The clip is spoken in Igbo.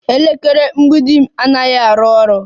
Elekere mgbidi m anaghị arụ ọrụ